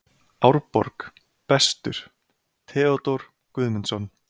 Árborg: Bestur: Theodór Guðmundsson.